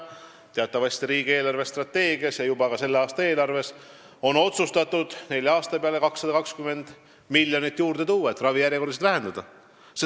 Teatavasti on riigi eelarvestrateegias ja ka juba selle aasta eelarves otsustatud nelja aasta peale 220 miljonit juurde anda, et ravijärjekordasid lühendada.